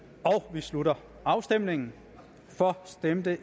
vi slutter afstemningen for stemte